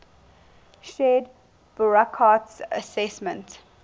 shared burckhardt's assessment